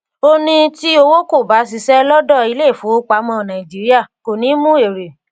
ó ní tí owó kò bá ṣiṣẹ lọdọ ilé ìfowópamọ nàìjíríà kò ní mú èrè